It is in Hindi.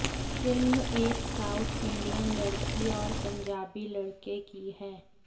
फिल्म एक साउथ इंडियन लड़की और पंजाबी लड़के की है